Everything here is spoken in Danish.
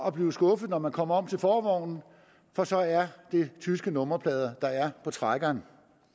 at blive skuffet når man kommer om til forvognen for så er der tyske nummerplader på trækkeren